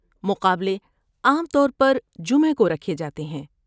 مقابلے عام طور پر جمعہ کو رکھے جاتے ہیں۔